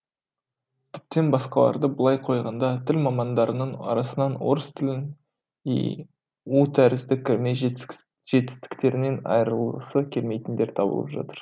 тіптен басқаларды былай қойғанда тіл мамандарының арасынан орыс тілінің и у тәрізді кірме жетістіктерінен айрылғысы келмейтіндер табылып жатыр